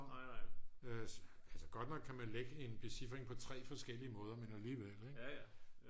altså godt nok kan man lægge en becifring på 3 forskellige måder men alligevel